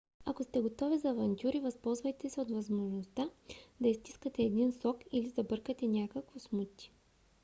ако сте готови за авантюри възползвайте се от възможността да изстискате един сок или забъркате някакво смути: